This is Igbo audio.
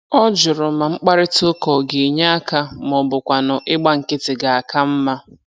Ọ jụrụ ma mkparịtaụka ọ ga-enye aka ma ọ bụkwanụ ịgba nkịtị ga-aka mma.